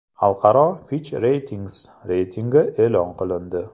Xalqaro FitchRatings reytingi e’lon qilindi.